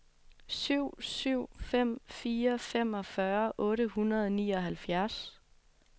syv syv fem fire femogfyrre otte hundrede og nioghalvfjerds